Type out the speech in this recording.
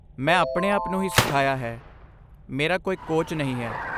ਮੈਂ ਆਪਣੇ ਆਪ ਨੂੰ ਹੀ ਸਿਖਾਈਆ ਹੈ